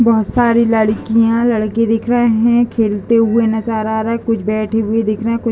बहोत सारी लड़कियां लड़के दिख रहे हैं खेलते हुए नज़र आ रहे कुछ बैठे हुए दिख रहे हैं कुछ --